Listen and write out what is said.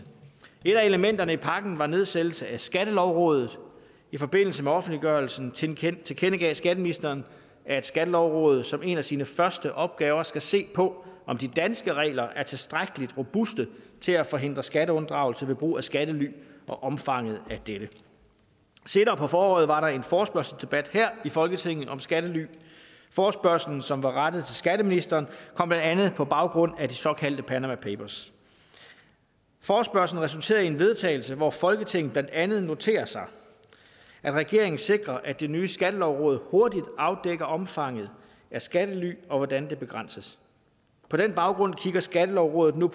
et af elementerne i pakken er nedsættelsen af skattelovrådet i forbindelse med offentliggørelsen tilkendegav skatteministeren at skattelovrådet som en af sine første opgaver skal se på om de danske regler er tilstrækkelig robuste til at forhindre skatteunddragelse ved brug af skattely og omfanget af dette senere på foråret var der en forespørgselsdebat her i folketinget om skattely forespørgslen som var rettet til skatteministeren kom blandt andet på baggrund af de såkaldte panama papers forespørgslen resulterede i en vedtagelse hvor folketinget blandt andet noterer sig at regeringen sikrer at det nye skattelovråd hurtigt afdækker omfanget af skattely og hvordan det begrænses på den baggrund kigger skattelovådet nu